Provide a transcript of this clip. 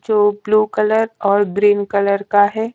जो blue colour और green colour का है।